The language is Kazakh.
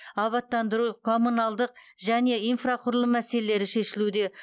абаттандыру коммуналдық және инфрақұрылым мәселелері шешілуде